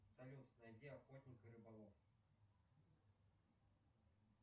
салют найди охотник и рыболов